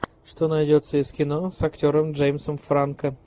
что найдется из кино с актером джеймсом франко